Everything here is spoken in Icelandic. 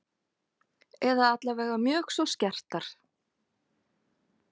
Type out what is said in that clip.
Eða allavega mjög svo skertar.